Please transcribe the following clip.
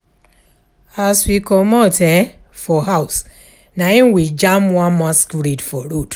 As we comot um for house na im we jam one masquerade for road